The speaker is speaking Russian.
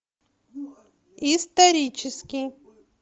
исторический